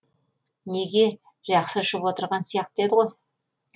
неге жақсы ішіп отырған сияқты еді ғой